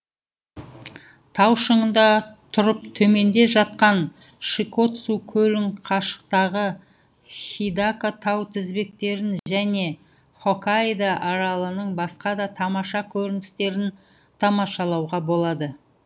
тау шыңында түрып төменде жатқан шикотсу көлің қашықтағы хидака тау тізбектерін жәнө хоккайдо аралының басқа да тамаша көріністерін тамашалауға болады